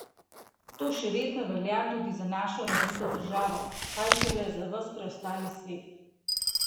To še vedno velja tudi za našo razvito državo, kaj šele za ves preostali svet!